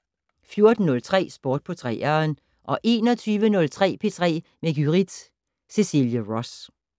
14:03: Sport på 3'eren 21:03: P3 med Gyrith Cecilie Ross